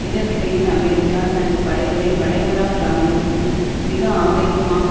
இதற்கிடையில் அமெரிக்கா தனது படைகளை வளைகுடா பிராந்தியத்தில் மிக ஆவேசமாக